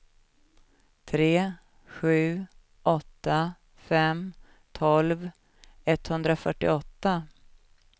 tre sju åtta fem tolv etthundrafyrtioåtta